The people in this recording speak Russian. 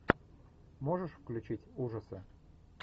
можешь включить ужасы